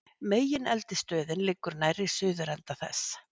Megineldstöðin liggur nærri suðurenda þess.